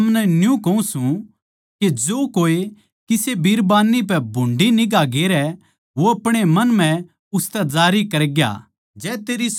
पर मै थमनै न्यू कहूँ सूं के जो कोए किसे बिरबान्नी पै भुंडी निगांह गेरै वो अपणे मन म्ह उसतै जारी करग्या